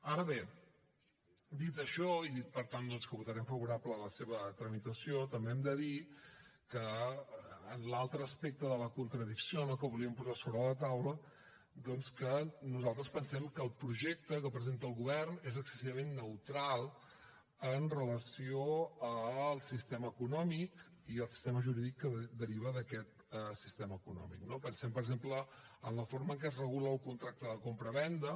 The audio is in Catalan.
ara bé dit això i dit per tant doncs que votarem favorablement la seva tramitació també hem de dir que l’altre aspecte de la contradicció no que volíem posar sobre la taula doncs que nosaltres pensem que el projecte que presenta el govern és excessivament neutral amb relació al sistema econòmic i al sistema jurídic que deriva d’aquest sistema econòmic no pensem per exemple en la forma en què es regula el contracte de compravenda